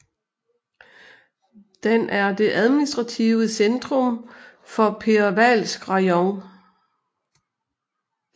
Den er det administrative centrum for Perevalsk rajon